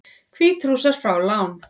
Hvítrússar fá lán